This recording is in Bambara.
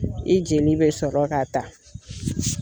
I jeli be sɔrɔ ka ta